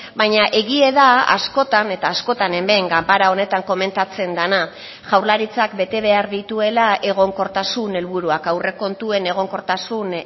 baina egia da askotan eta askotan hemen ganbara honetan komentatzen dena jaurlaritzak bete behar dituela egonkortasun helburuak aurrekontuen egonkortasun